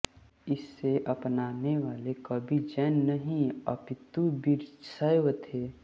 इसे अपनानेवाले कवि जैन नहीं अपितु वीरशैव थे